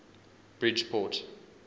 bridgeport